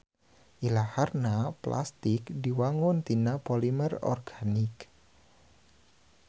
Ilaharna plastik diwangun tina polimer organik.